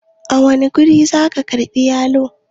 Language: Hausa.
a wane guri za a karbi yalon?